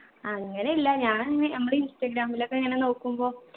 അങ്ങനെയില്ല ഞാൻ ഇങ്ങനെ നമ്മടെ ഇൻസ്റ്റഗ്രാമിലൊക്കെ ഇങ്ങനെ നോക്കുമ്പോ